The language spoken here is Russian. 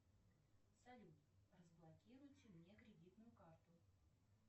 салют разблокируйте мне кредитную карту